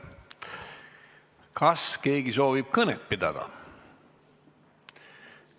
Kas keegi soovib kõnet pidada?